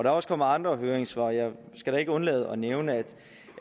er også kommet andre høringssvar jeg skal da ikke undlade at nævne at